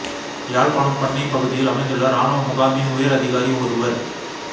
யாழ்ப்பாணம் பண்ணைப் பகுதியில் அமைந்துள்ள இராணுவ முகாமின் உயர் அதிகாரி ஒருவர்